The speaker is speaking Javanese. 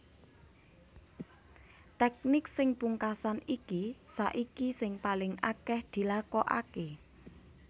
Tèknik sing pungkasan iki saiki sing paling akèh dilakokaké